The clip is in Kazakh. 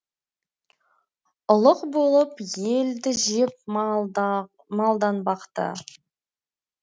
ұлық болып елді жеп малда малданбақты